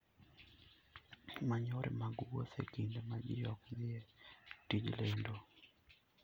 Many yore mag wuoth e kinde ma ji ok dhi e tij lendo.